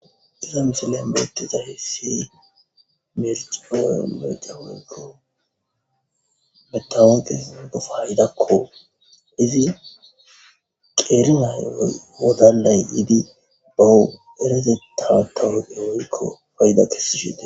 iza misile beetiza hessi mericeoe meca mugoro metawaqe gofaydakko izi qeerinay wodalay yiidi bawu erezetaa tawoqe woykko fayda kessishite